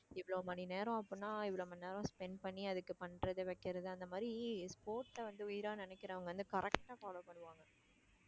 இவ்வளவு மணி நேரம் அப்படின்னா இவ்வளவு மணி நேரம் spend பண்ணி அதுக்கு பண்றது வைக்கிறது அந்த மாதிரி sports ல வந்து உயிரா நினைக்கிறவங்க வந்து correct ஆ follow பண்ணுவாங்க